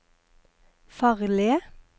farlige